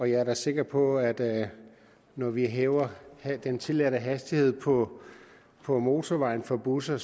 jeg er da sikker på at at når vi hæver den tilladte hastighed på på motorvejen for busser